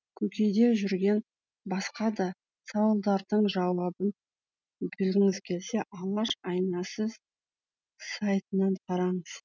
көкейде жүрген басқа да сауалдардың жауабын білгіңіз келсе алаш айнасы сайтынан қараңыз